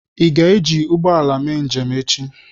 Ị ga-eji ụgbọ ala mee njem echi?